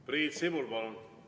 Priit Sibul, palun!